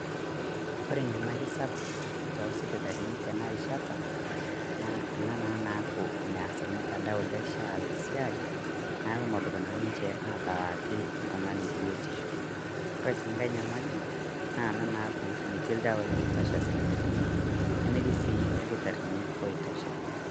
Kore enyamali sapuk too sipitalini tena rishata naa ana naa naaku meaas mtandao le SHA siaai na meduup naa ninchee atalaaki ltung'ani botisho. Kore sii nkai nyamali naaku meeti ldewai ootoshaa sipitalini nemeetii sii lkitarini ootosha.